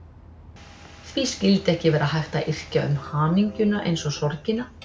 Því skyldi ekki vera hægt að yrkja um hamingjuna eins og sorgina?